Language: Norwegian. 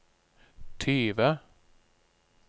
tyve